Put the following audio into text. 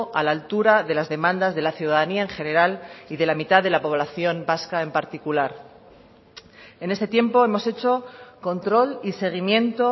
a la altura de las demandas de la ciudadanía en general y de la mitad de la población vasca en particular en este tiempo hemos hecho control y seguimiento